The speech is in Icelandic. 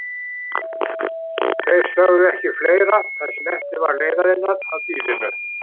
Þeir sögðu ekki fleira það sem eftir var leiðarinnar að býlinu.